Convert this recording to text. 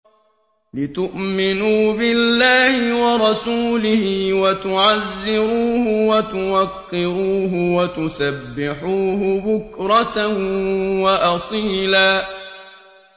لِّتُؤْمِنُوا بِاللَّهِ وَرَسُولِهِ وَتُعَزِّرُوهُ وَتُوَقِّرُوهُ وَتُسَبِّحُوهُ بُكْرَةً وَأَصِيلًا